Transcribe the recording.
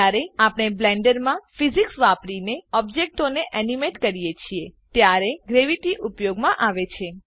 જયારે આપણે બ્લેન્ડરમાં ફીજીક્સ ભૌતિકવિજ્ઞાન વાપરીને ઓબ્જેક્ટોને એનીમેટ કરીએ છીએ ત્યારે ગ્રેવીટી ઉપયોગમાં આવે છે